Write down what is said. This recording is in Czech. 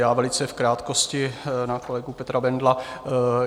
Já velice v krátkosti na kolegu Petra Bendla.